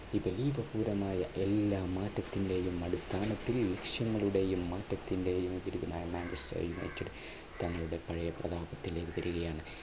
എല്ലാം മാറ്റത്തിന്റെയും അടിസ്ഥാനത്തിൽ ലക്ഷ്യത്തിന്റെയും മാറ്റത്തിന്റെയും പരിചിതനായ മാഞ്ചസ്റ്റർ യുണൈറ്റഡ് തങ്ങളുടെ പഴയ പ്രതാപത്തിലേക്ക് വരികയാണ്.